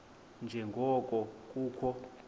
nje ngoko kukho